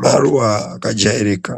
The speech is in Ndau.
maruwa akajairika.